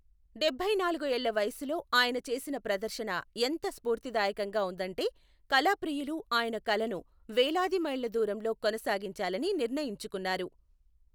డెబ్బైనాలుగు ఏళ్ల వయసులో ఆయన చేసిన ప్రదర్శన ఎంత స్ఫూర్తిదాయకంగా ఉందంటే, కళాప్రియులు ఆయన కళను వేలాది మైళ్ల దూరంలో కొనసాగించాలని నిర్ణయించుకున్నారు.